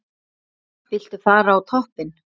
Viltu fara á toppinn?